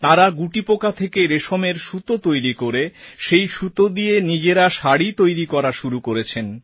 তাঁরা গুটিপোকা থেকে রেশমের সুতো তৈরি করে সেই সুতো দিয়ে নিজেরা শাড়ি তৈরি করাও শুরু করেছেন